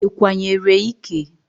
I kwanyere ike?